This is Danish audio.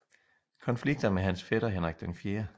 Konflikter med hans fætter Henrik 4